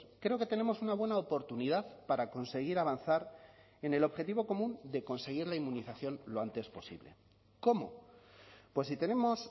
creo que tenemos una buena oportunidad para conseguir avanzar en el objetivo común de conseguir la inmunización lo antes posible cómo pues si tenemos